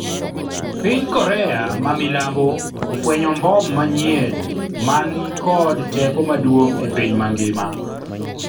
piny Korea ma milambo ofwenyo mbom manyien ma ni kod teko maduong' e piny mangima